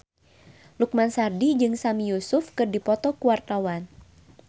Lukman Sardi jeung Sami Yusuf keur dipoto ku wartawan